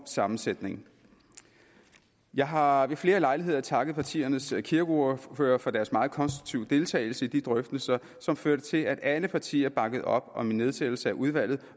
sammensætning jeg har har ved flere lejligheder takket partiernes kirkeordførere for deres meget konstruktiv deltagelse i de drøftelser som førte til at alle partier bakkede op om en nedsættelse af udvalget